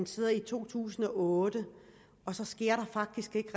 siden to tusind og otte faktisk ikke